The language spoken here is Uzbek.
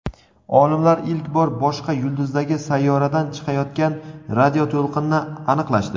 Olimlar ilk bor boshqa yulduzdagi sayyoradan chiqayotgan radioto‘lqinni aniqlashdi.